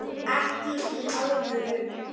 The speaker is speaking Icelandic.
Ekki í alvöru.